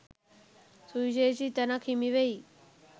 සුවිශේෂි තැනක් හිමිවෙයි.